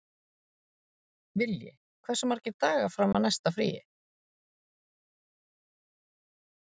Vilji, hversu margir dagar fram að næsta fríi?